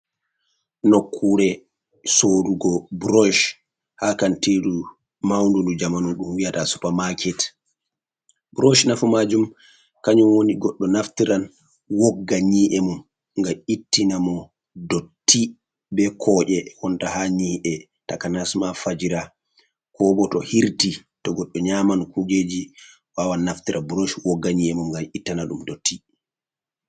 Nokkuure soorugo burosh ha kantiiru maundu ndu jamanu ɗum wi'ata supaa-maaket. Burosh nafu maajum kanjum woni goɗɗo naftiran wogga nyi’e mum, ngam ittina mo dotti, be koƴe wonta ha nyi'e, takanas ma fajira, ko bo to hirti, to goɗɗo nyaaman kuujeji waawan naftira burosh wogga nyi'e mum ngam ittana ɗum dotti.